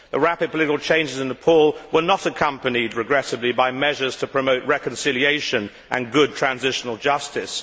The rapid political changes in Nepal were not accompanied, regrettably, by measures to promote reconciliation and good transitional justice.